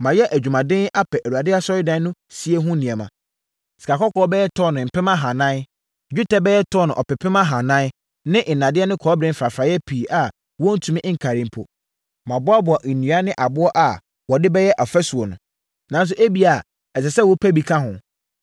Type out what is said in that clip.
“Mayɛ adwumaden apɛ Awurade Asɔredan no sie ho nneɛma, sikakɔkɔɔ bɛyɛ tɔno 4,000, dwetɛ bɛyɛ tɔno 40,000 ne nnadeɛ ne kɔbere mfrafraeɛ pii a wɔntumi nkari mpo. Maboaboa nnua ne aboɔ a wɔde bɛyɛ afasuo no, nanso ebia ɛsɛ sɛ wopɛ bi ka ho.